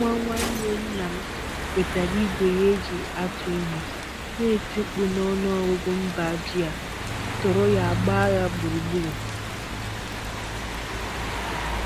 Nwa nwanne nna m wetara igwe ya e ji atụ ihe, na-eti mkpu n'ọnụ ọgụgụ mba ji a tụrụ ya gba ya gburugburu